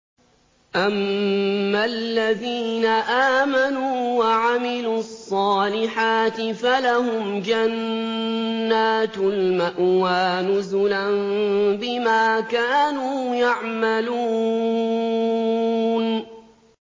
أَمَّا الَّذِينَ آمَنُوا وَعَمِلُوا الصَّالِحَاتِ فَلَهُمْ جَنَّاتُ الْمَأْوَىٰ نُزُلًا بِمَا كَانُوا يَعْمَلُونَ